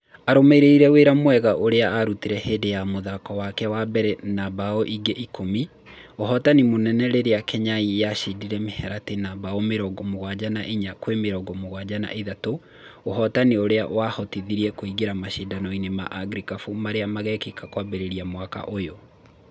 Arũmĩrĩire wĩra mwega ũrĩa arutire hĩndĩ ya mũthako wake wa mbere na mbaũ ingĩ ikũmĩ, ũhotani mũnene rĩrĩa Kenyai yacindire Mĩharati na mbaũ mĩrongo mũgwanja na inya kwĩ mĩrongo mũgwanja na ithatũ, ũhotani ũrĩa wamahotithirie kũĩngira macindanoinĩ ma Afrigĩkabũ marĩa magekĩka Kwambĩra mwaka ũyũ.